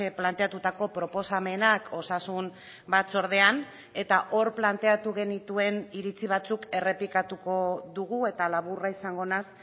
planteatutako proposamenak osasun batzordean eta hor planteatu genituen iritsi batzuk errepikatuko dugu eta laburra izango naiz